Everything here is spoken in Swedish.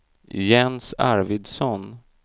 Jens Arvidsson